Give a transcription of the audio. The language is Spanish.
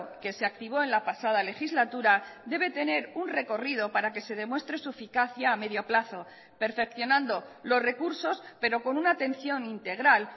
que se activó en la pasada legislatura debe tener un recorrido para que se demuestre su eficacia a medio plazo perfeccionando los recursos pero con una atención integral